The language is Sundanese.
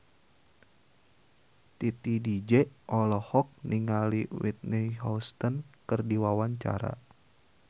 Titi DJ olohok ningali Whitney Houston keur diwawancara